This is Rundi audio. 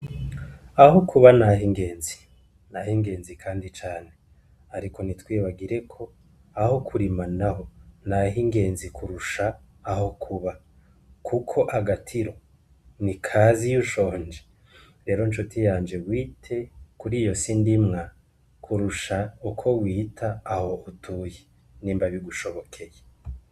Aho kuba, naho ingenzi, naho ingenzi, kandi cane, ariko nti twibagireko aho kurima na ho, naho ingenzi kurusha aho kuba, kuko agatiro ni kazi iy'ushonje rero ncoti yanje wite kuri iyo sindimwa kurusha uko wie ita aho utuye nimba bigushobokeye.